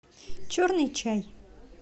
черный чай